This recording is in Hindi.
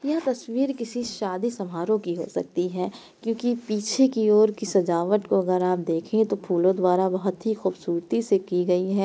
यह तस्वीर किसी शादी समारोह की हो सकती है क्योंकी पीछे की ओर की ससजावट को अगर आप देखे तो फूलों द्वारा बहुत ही ख़ूबसूरती से की गई है।